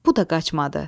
Bu da qaçmadı.